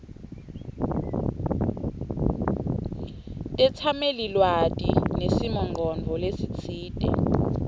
tetsamelilwati nesimongcondvo lesitsite